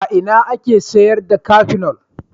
A ina ake sayar da Kafinol.